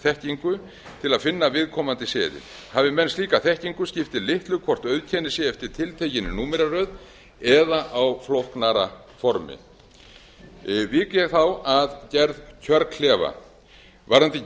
sérþekkingu til að finna viðkomandi seðil hafi menn slíka þekkingu skiptir litlu hvort auðkennið sé eftir tiltekinni númeraröð eða á flóknara formi vík ég þá að gerð kjörklefa varðandi